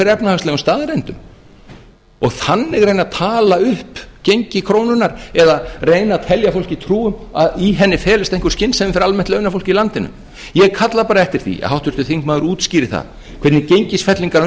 efnahagslegum staðreyndum og þannig reyna að tala upp gengi krónunnar eða reyna að telja fólki trú um að í henni felist einhver skynsemi fyrir almennt launafólk í landinu ég kalla bara eftir því að háttvirtur þingmaður útskýri það hvernig gengisfellingar